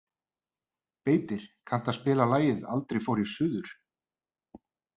Beitir, kanntu að spila lagið „Aldrei fór ég suður“?